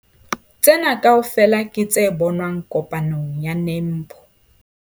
Tsena kaofela ke tse bonwang kopanong ya NAMPO.